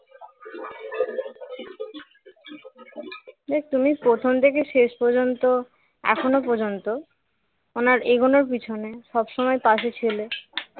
যাক তুমি প্রথম থেকে শেষ পর্যন্ত এখনো পর্যন্ত ওনার এগোনোর পেছনে সব সময় পাশে ছিলে